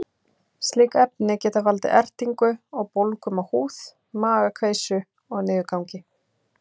Slík efni geta valdið ertingu og bólgum á húð, magakveisu og niðurgangi.